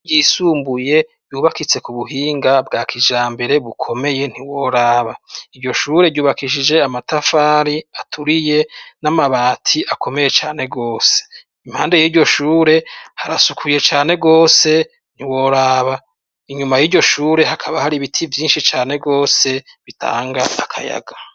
Ishure ryisumbuye, yubakitse ku buhinga bwa kijambere bukomeye ntiworaba! Iyo shure yubakishije amatafari aturiye n'amabati akomeye cane rwose, impande y'iryo shure harasukuye cane rwose ntiworaba! Inyuma y'iryo shure hakaba hari ibiti vyinshi cane rwose bitanga akayaga.